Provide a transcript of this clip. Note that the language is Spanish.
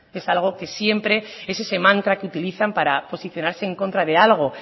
es algo que siempre es ese mantra que utilizan para posicionarse en contra de algo